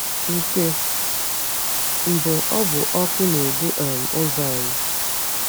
Nke mbụ, ọ bụ ọkụ na-edu um ụzọ anyị.